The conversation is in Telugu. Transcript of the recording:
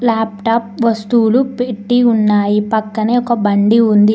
లాప్టాప్ వస్తువులు పెట్టి ఉన్నాయి పక్కనే ఒక బండి ఉంది.